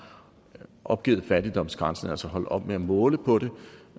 opgivet fattigdomsgrænsen altså er holdt op med at måle på det